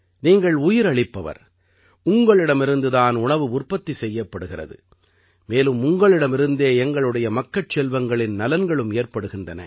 நீங்கள் உயிர் அளிப்பவர் உங்களிடமிருந்து தான் உணவு உற்பத்தி செய்யப்படுகிறது மேலும் உங்களிடமிருந்தே எங்களுடைய மக்கட்செல்வங்களின் நலன்களும் ஏற்படுகின்றன